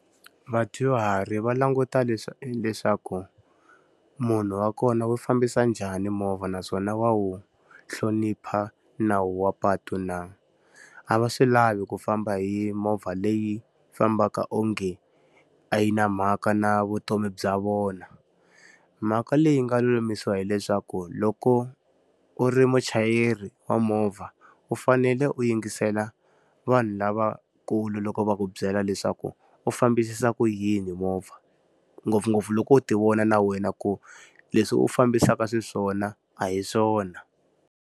Vadyuhari va languta leswaku munhu wa kona u fambisa njhani movha naswona wa wu hlonipha nawu wa patu na. A va swi lavi ku famba hi movha leyi fambaka onge a yi na mhaka na vutomi bya vona. Mhaka leyi yi nga lulamisiwa hileswaku loko u ri muchayeri wa movha, u fanele u yingisela vanhu lavakulu loko va ku byela leswaku u fambisisa ku yini movha. Ngopfungopfu loko u ti wona na wena ku leswi u fambisaka xiswona a hi swona.